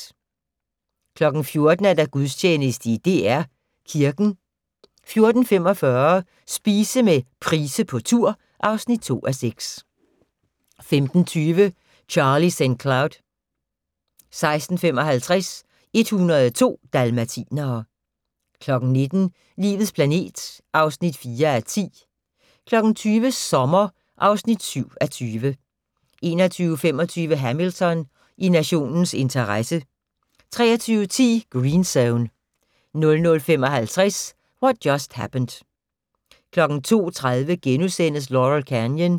14:00: Gudstjeneste i DR Kirken 14:45: Spise med Price på tur (2:6) 15:20: Charlie St. Cloud 16:55: 102 dalmatinere 19:00: Livets planet (4:10) 20:00: Sommer (7:20) 21:25: Hamilton: I nationens interesse 23:10: Green Zone 00:55: What Just Happened 02:30: Laurel Canyon *